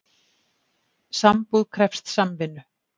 Sambúð krefst samvinnu.